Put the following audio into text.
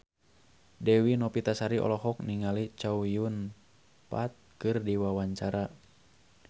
Dewi Novitasari olohok ningali Chow Yun Fat keur diwawancara